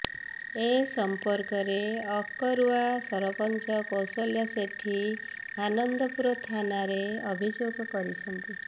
ଏ ସମ୍ପର୍କରେ ଅକରୁଆ ସରପଞ୍ଚ କୌଶଲ୍ୟା ସେଠୀ ଆନନ୍ଦପୁର ଥାନାରେ ଅଭିଯୋଗ କରିଛନ୍ତି